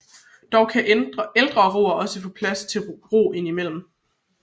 Dog kan ældre roere også få plads til at ro indimellem